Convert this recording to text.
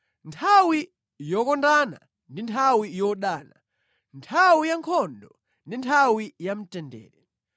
Nthawi yokondana ndi nthawi yodana, nthawi ya nkhondo ndi nthawi ya mtendere.